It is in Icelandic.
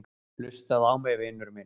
Hlustaðu á mig, vinur minn.